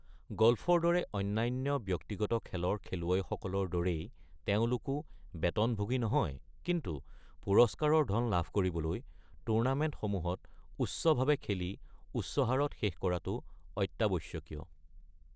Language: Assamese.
গ'ল্ফৰ দৰে অন্যান্য ব্যক্তিগত খেলৰ খেলুৱৈসকলৰ দৰেই তেওঁলোকো বেতনভোগী নহয়, কিন্তু পুৰস্কাৰৰ ধন লাভ কৰিবলৈ টুৰ্নামেণ্টসমূহত উচ্চভাৱে খেলি উচ্চ হাৰত শেষ কৰাটো অত্যাৱশ্যকীয়।